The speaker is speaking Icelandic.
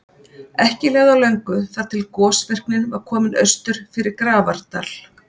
En ekki leið á löngu þar til gosvirknin var komin austur fyrir Grafardal.